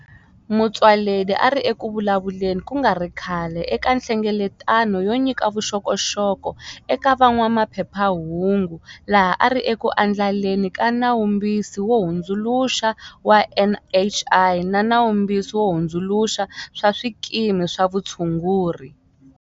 Motsoaledi a ri eku vulavuleni ku nga ri khale eka nhlengeletano yo nyika vuxokoxoko eka van'wamaphephahungu laha a ri eku andlaleni ka Nawumbisi wo Hundzuluxa wa NHI na Nawumbisi wo Hundzuluxa wa Swikimi swa Vutshunguri.